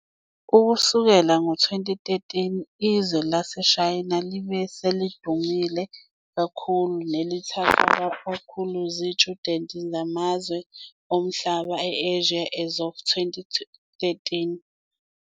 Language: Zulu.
Ukusukela ngo 2013, izwe laseShayina libe ngelidume kakhulu nelithathw akakhulu zitshudeni zamazwe omhlaba e-Asia As of 2013, kanti lisezingeni lesithathu kuwo wonke amazwe.